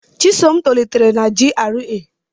Chisom tolitere na GRA.